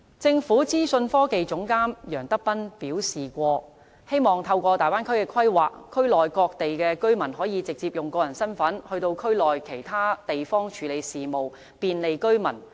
政府資訊科技總監楊德斌曾表示，希望透過大灣區的規劃，區內各地居民可以直接用個人身份到區內其他地方處理事務，便利居民。